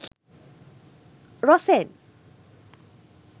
rosen